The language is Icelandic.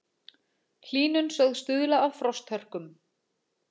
Hlýnun sögð stuðla að frosthörkum